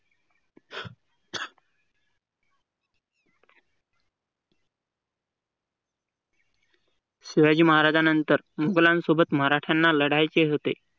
शिवाजी महाराजांनंतर मोघलांसोबत मराठ्यांना लढायचे होते.